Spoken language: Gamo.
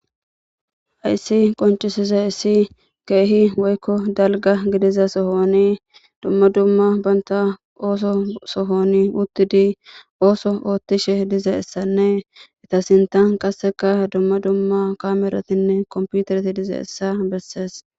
Ayssi qoncisize issi keehi woykko dalga gidiza sohoni dumma dumma banta ooso sohoni uttidi ooso oothtishe dize essanne ita sintan qasseka dumma dumma kameratinne komputerti dize essa bessees.